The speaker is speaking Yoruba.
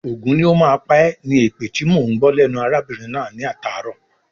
"Ògún ní o má pá ẹ̀" ni èpè tíì mọ ń gbọ́ lẹ́nu arábìnrin náà ní atàárọ̀.